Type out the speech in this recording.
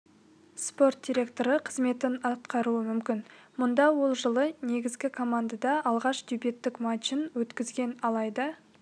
спорт директоры қызметін атқаруы мүмкін мұнда ол жылы негізгі командада алғашқы дебюттік матчын өткізген алайда